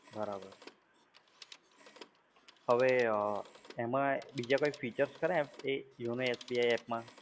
બરાબર છે. હવે એમાં બીજા કોઈ features ખરા એમ એ yonosbi app માં?